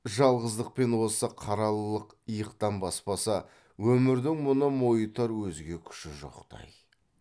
жалғыздық пен осы қаралылық иықтан баспаса өмірдің мұны мойытар өзге күші жоқтай